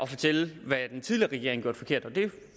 fortælle hvad den tidligere regering gjorde forkert og